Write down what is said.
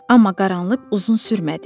Amma qaranlıq uzun sürmədi.